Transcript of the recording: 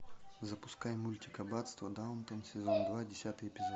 запускай мультик аббатство даунтон сезон два десятый эпизод